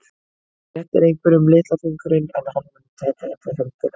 Þú réttir einhverjum litla fingurinn en hann mun taka alla höndina.